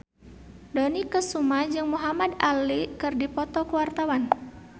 Dony Kesuma jeung Muhamad Ali keur dipoto ku wartawan